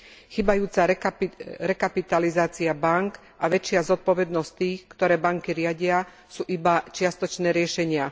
Chýbajúca rekapitalizácia bánk a väčšia zodpovednosť tých, ktorí banky riadia, sú iba čiastočné riešenia.